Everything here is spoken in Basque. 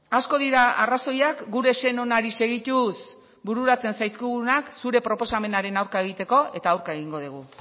asko dira arrazoiak gure sen onari segituz bururatzen zaizkigunak zure proposamenaren aurka egiteko eta aurka egingo dugu